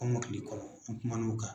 Kɔmɔkili kɔrɔ an kumana o kan.